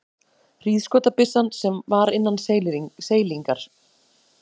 Hríðskotabyssan var innan seilingar.